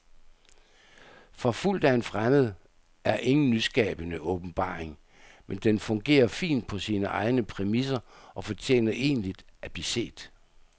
Forfulgt af en fremmed er ingen nyskabende åbenbaring, men den fungerer fint på sine egne præmisser og fortjener egentlig at blive set.